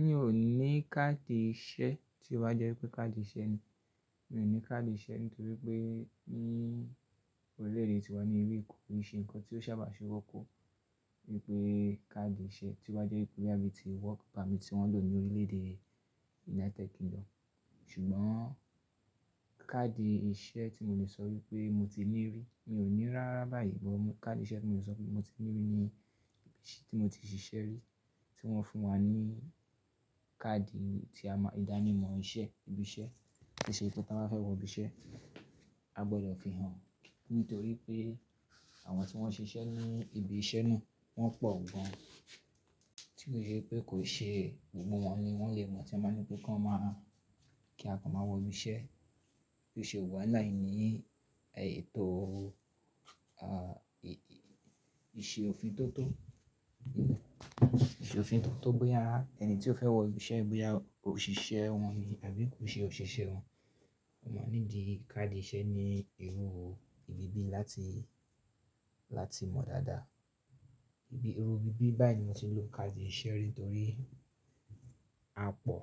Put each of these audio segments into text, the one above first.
Mi ò ní káàdì iṣẹ́ tí ó bá jẹ́ pé káàdì iṣẹ́ ni. Mi ò ní káàdì iṣẹ́ nítorí pé ni Orílẹ̀-èdè tiwa ní ibí bí kì í ṣenǹkan tí ó sábà fe wọ́pọ̀ wípé káàdì iṣẹ́ tí ó bá jẹ́ pé bí ti wọ́kì permit tí wọ́n lò ní orílẹ̀ èdè United Kingdom. Ṣùgbọ́n káàdì iṣẹ́ tí mo lè sọ wípé mo ti ní rí, mi ò ní rárá báyìí mọ́ káàdì iṣẹ́ tí mo lè sọ wípé mo ti ní rí ní tí mo ti ṣiṣẹ́ rí tí wọ́n fún wa ní káàdì ti a máa, ìdánimọ̀ iṣẹ́, ibi iṣẹ́. Iṣẹ́ tí táa máa fẹ́ wọ ibi iṣẹ́, a gbọ́dọ̀ fi hàn. Nítorí pé àwọn tí wọ́n ṣe iṣẹ́ ní ibi iṣẹ́ náà wọ́n pọ̀ gan. Tí kò ṣe pé kò ṣe gbogbo wọn ni wọ́n lè mọ̀ tí a máa ní pé ká máa kí a kan máa wọ ibi iṣẹ́. Bí òṣé wuwa lai ní ètò, à, iṣẹ́ òfin tó tó, iṣẹ́ òfin tó tó bóyà, ẹni tí ó fẹ́ wọ ibi iṣẹ́ ni bóyà òṣìṣẹ́ wọn ni àbí kò ṣe òṣìṣẹ́ wọn. Wọ́n máa ní di káàdì iṣẹ́ ní irú ibi bí láti, láti mọ̀ dáadáa. Ibi, irú ibi bí báyìí ni mo ti lò káàdì iṣẹ́ rí nítorí a pọ̀.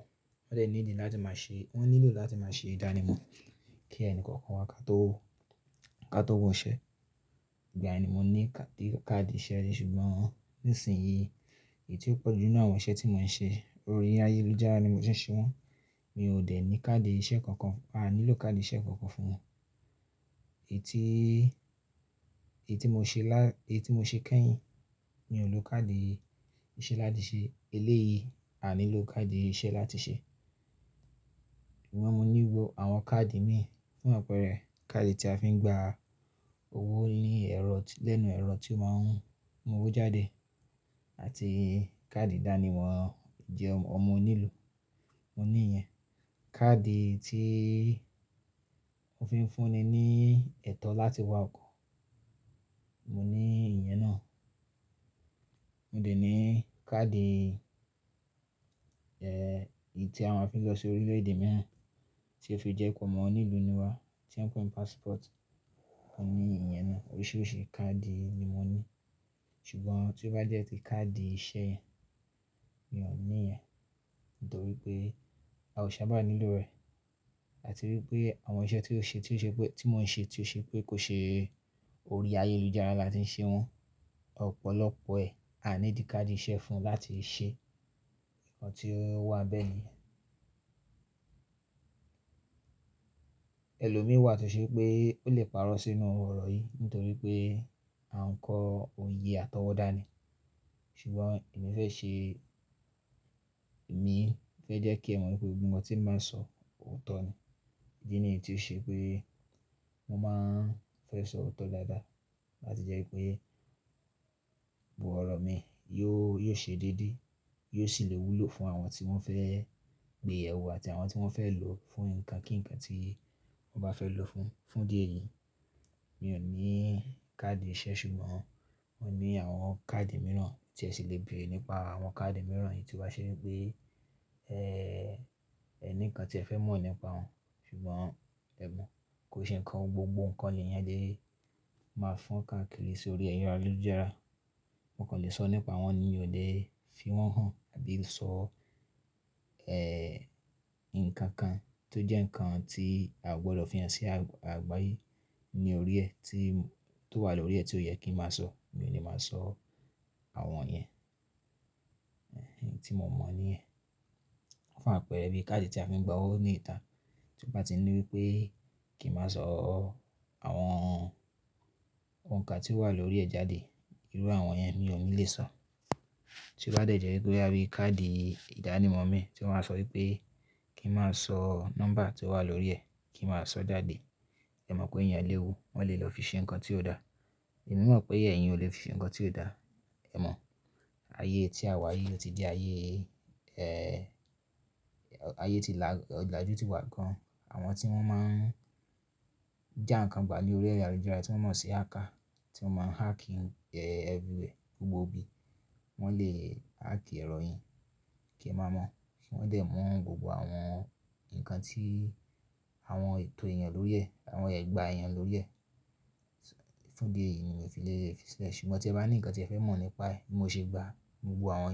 Wọ́n dẹ̀ ní di láti máa ṣe, wọ́n nílò láti máa ṣe ìdánimọ̀ kí ẹnì kọ̀ọ̀kan wa ká tó, ká tó wọ iṣẹ́. Ìgbà ẹni mo ní káàdì iṣẹ́ rí ṣùgbọ́n nísinsìnyí èyí tí ó pọ̀jù jù lọ àwọn iṣẹ́ tí mò ń ṣe orí ayélujára ni mo ti ṣe wọ́n. Mi ò dẹ̀ ní káàdì iṣẹ́ kankan, a nílò káàdì iṣẹ́ kankan fún. Èyí tí, èyí tí mo ṣe lán, èyí tí mo ṣe kẹ́yìn mi ò lò káàdì iṣẹ́ láti ṣe. Elé yìí a nílò káàdì iṣẹ́ láti ṣe. Ṣùgbọ́n mo ní gbogbo àwọn káàdì mi fún àpẹẹrẹ káàdì tí a fi ń gba owó ní ẹ̀rọ, lẹ́nu ẹ̀rọ tí ó máa ń mú owó jáde àti káàdì ìdánimọ̀ ìjẹun ọmọ onílù. Mo ní ìyẹn. Káàdì tí wọ́n fi ń fúnni ní ẹ̀tọ́ láti wá kọ́, mo ní ìyẹn náà. Mo dẹ̀ ní káàdì, ẹ́, èyí tí a máa fi ń lọ sí orílẹ̀ èdè mìíràn tí ó fi jẹ́ ipò ọmọ onílù níwa tí wọ́n ń pe ní passport. Mo ní ìyẹn náà. Oríṣiríṣi káàdì ni mo ní. Ṣùgbọ́n tí ó bá jẹ́ pé káàdì iṣẹ́ yẹn, mi ò ní ìyẹn nítorí pé a ò sábà nílò rẹ̀ àti wípé àwọn iṣẹ́ tí ó ṣe, tí ó ṣe pé tí mò ń ṣe tí ó ṣe pé kò ṣe orí ayélujára láti ń ṣe wọ́n. Ọ̀pọ̀lọpọ̀ ẹ̀ a ní di káàdì iṣẹ́ fún láti ṣe nǹkan tí ó wà bẹ́ẹ̀ ni. Ẹlòmíì wà tí ó ṣe pé ó lè parọ́ sínú ọ̀rọ̀ yìí nítorí pé à ń kọ òye àtọwọ́dá ni. Ṣùgbọ́n èmi fẹ́ ṣe, èmi fẹ́ jẹ́ kí ẹ mọ̀ wípé gbogbo nǹkan tí mo máa ń sọ òótọ́ ni. Èyí ni èyí tí ó ṣe pé mo máa ń fẹ́ sọ òótọ́ dáadáa láti jẹ́ wípé gbogbo ọ̀rọ̀ mi yóò, yóò ṣe dédé, yóò sì lè wúlò fún àwọn tí wọ́n fẹ́ gbé ẹrù àti àwọn tí wọ́n fẹ́ lò fún nǹkan kínnkán tí wọ́n bá fẹ́ lò fún, fún díẹ̀ yìí. Mi ò ní káàdì iṣẹ́ ṣùgbọ́n mo ní àwọn káàdì mìíràn tí ẹ sì lè bèrè nípa àwọn káàdì mìíràn yìí tí ó bá ṣe wípé ẹ́, ẹ ní nǹkan tí ẹ fẹ́ mọ̀ nípa wọn. Ṣùgbọ́n ẹ mọ̀ kó ṣe nǹkan gbogbo nǹkan lè yan le máa fọ́n káàkiri sórí ayélujára. Mo kàn lè sọ nípa wọn ni mi ò lè fi wọ́n hàn àbí sọ, ẹ́, nǹkankan tó jẹ́ nǹkan tí a ò gbọ́dọ̀ fi hàn sí àgbáyé ní orí ẹ̀ tí, tó wà lórí ẹ̀ tí ó yẹ kí n máa sọ, mi ò lè máa sọ àwọn yẹn, ti mò mọ̀ ní ẹ̀. Fún àpẹẹrẹ bí káàdì tí a fi ń gba owó ní ìta tí ó bá ti ní wípé kí n má sọ àwọn nǹkan tí ó wà lórí ẹ̀ jáde, irú àwọn yẹn mi ò ní lè sọ. Tí ó bá dẹ̀ jẹ́ wípé bá rí káàdì ìdánimọ̀ mi tí wọ́n máa sọ wípé kí n má sọ nọ́mbà tí ó wà lórí ẹ̀, kí n má sọ dáde. Ẹ mọ̀ pé íyén lè wu, wọ́n lè lọ fi ṣe nǹkan tí ó dà. Ẹ̀mi mọ̀ pé ẹ̀yin ò lè fi ṣe nǹkan tí ó dà. Ẹ mọ̀ ayé tí a wà yìí ó ti di ayé, ẹ́, ayé ti là, òlájù tí wà gan. Àwọn tí wọ́n máa ń já nǹkan gbà lórí ayélujára tí wọ́n mọ̀ sí hacker tí wọ́n máa ń hacking, ẹ́, everywhere gbogbo ibi. Wọ́n lè hack ẹ̀rọ yin kí ẹ má mọ̀. Wọ́n dẹ̀ mọ̀ gbogbo àwọn nǹkan tí àwọn ètò èèyàn lórí ẹ̀, àwọn ẹ̀gbà èèyàn lórí ẹ̀. Fún díẹ̀ yìí mo fi lè fi sọ. Ṣùgbọ́n tí ẹ bá ní nǹkan tí ẹ fẹ́ mọ̀ nípa è bí mo ṣe gbà gbogbo àwọn yẹn.